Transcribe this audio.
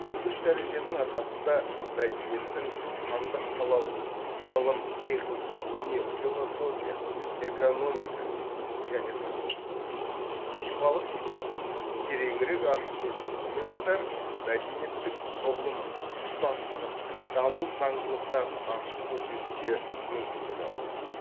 бұл үш дәреженің арқасында мәдениеттің сандық салалық ғылым техника өнер философия экономика және тағы басқалары сипатын тереңірек ашып көрсетумен қатар мәдениеттік құрылымын тұтастығын даму заңдылықтарын ашып көрсетуге мүмкіндік аламыз